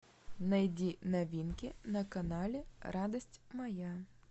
найди новинки на канале радость моя